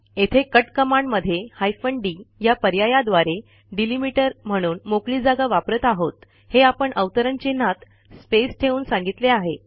येथे कट कमांडमध्ये hyphen D या पर्यायाद्वारे डेलिमीटर म्हणून मोकळी जागा वापरत आहोत हे आपण अवतरण चिन्हात स्पेस ठेवून सांगितले आहे